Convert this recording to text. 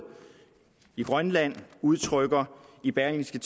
i grønland udtrykker i berlingske